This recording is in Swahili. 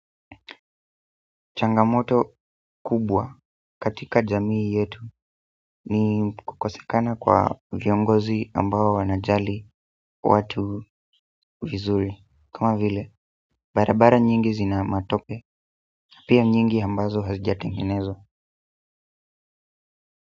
Changamoto kubwa katika jamii yetu ni kukosekana kwa viongozi ambao wanajali watu vizuri kama vile, barabara nyingi zina matope, pia nyingi ambazo hazijatengenezwa.